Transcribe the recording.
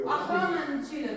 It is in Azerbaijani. Axıranı neçə elədi?